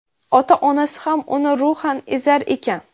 ota-onasi ham uni ruhan ezar ekan.